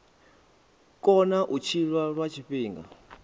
kona u tshila lwa tshifhinga